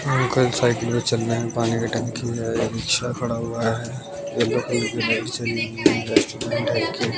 Uncle cycle में चल रहे है। पानी की टंकी है रिक्शा खड़ा हुआ है।